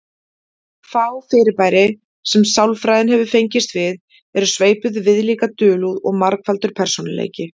Fá fyrirbæri sem sálfræðin hefur fengist við eru sveipuð viðlíka dulúð og margfaldur persónuleiki.